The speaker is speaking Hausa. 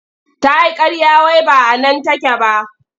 Ta yi ƙarya wai ba a nan take ba.